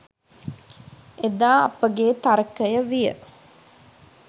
එදා අපගේ තර්කය විය.